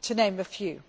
to name but a few.